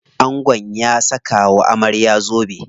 Angon ya saka wa amarya zobe.